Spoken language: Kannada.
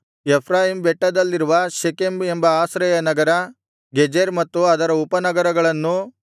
ಎಫ್ರಾಯೀಮ್ ಬೆಟ್ಟದಲ್ಲಿರುವ ಶೆಕೆಮ್ ಎಂಬ ಆಶ್ರಯ ನಗರ ಗೆಜೆರ್ ಮತ್ತು ಅದರ ಉಪನಗರಗಳನ್ನೂ